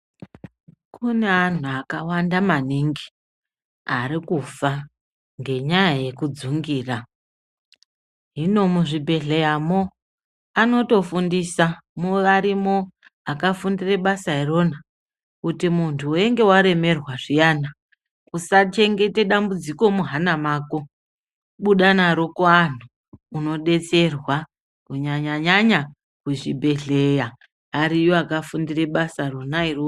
Kune antu akawanda maningi ari kufa ngenyaya yekudzungira hino muzvibhedhleyamo anotofundisa varimo akafundire basa irona kuti muntu weinge waremerwa zviyani usachengete dambudziko muhana mako buda naro kuantu unodetserwa kunyanya nyanya kuchibhedhleya eriyo akafundira basa rona iroro.